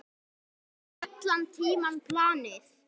Það var allan tímann planið.